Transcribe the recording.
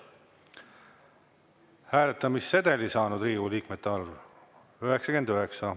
Hääletamissedeli saanud Riigikogu liikmete arv – 99.